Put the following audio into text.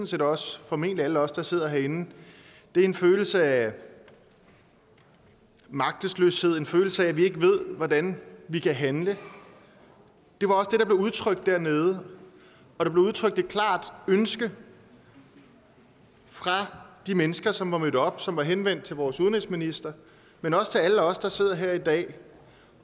set også formentlig alle os der sidder herinde er en følelse af magtesløshed og en følelse af at vi ikke ved hvordan vi kan handle det var også det der blev udtrykt dernede og der blev udtrykt et klart ønske fra de mennesker som var mødt op som var henvendt til vores udenrigsminister men også til alle os der sidder her i dag